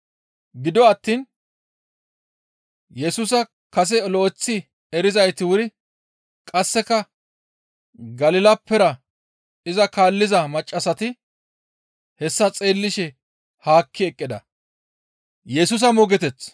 Gido attiin Yesusa kase lo7eththi erizayti wuri qasseka Galilappera iza kaalliza maccassati hessa xeellishe haakki eqqida.